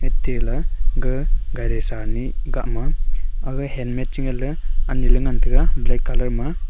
tela ga gari sanih gahma aga helmet che ngan ley anye ley ngan taega black colour ma.